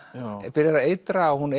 byrjar að eitra og hún